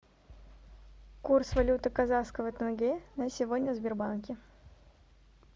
курс валюты казахского тенге на сегодня в сбербанке